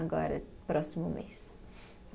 Agora, próximo mês.